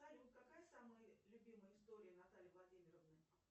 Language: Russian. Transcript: салют какая самая любимая история натальи владимировны